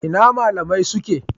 Ina malamai suke?